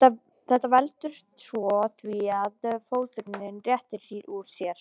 Þetta veldur svo því að fóturinn réttir úr sér.